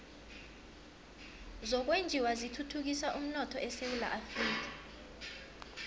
zokwenjiwa zithuthukisa umnotho esewula afrika